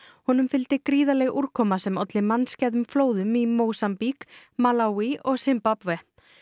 honum fylgdi gríðarleg úrkoma sem olli mannskæðum flóðum í Mósambík Malaví og Simbabve